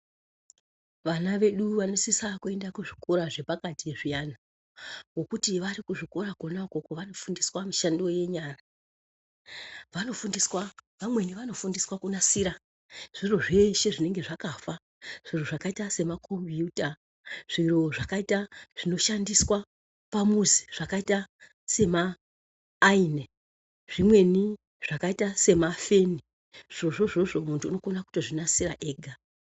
Vana vedu vanosisa kuenda kuzvikora zvepakati zviyani, ngokuti vari kuzvikora kona ukoko, vanofundiswa mishando yenyara, vanofundiswa, vamweni vanofundiswa kunasira zviro zveshe zvinenge zvakafa, zviro zvakayita semakombiyuta, zviro zvakayita zvinoshandiswa pamuzi zvakayita semaayini, zvimweni zvakayita semafeni, zvirozvo izvizvo muntu unokona kutozvinasira ega.